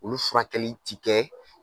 Olu furakɛli ti kɛ